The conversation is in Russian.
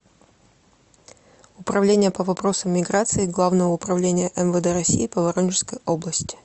управление по вопросам миграции главного управления мвд россии по воронежской области